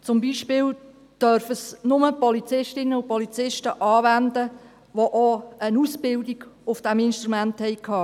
Zum Beispiel dürfen es nur Polizistinnen und Polizisten anwenden, die auch eine Ausbildung auf diesem Instrument hatten.